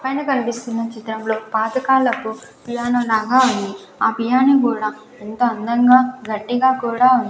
పైన కనిపిస్తున్న చిత్రంలో పాత కాలపు పియానో లాగా ఉంది ఆ పియానో గూడా ఎంత అందంగా గట్టిగా కూడా ఉం --